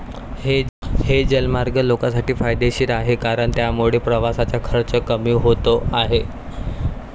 हे जलमार्ग लोकांसाठी फायदेशीर आहे कारण त्यामुळे प्रवासाचा खर्च कमी होतो आहे.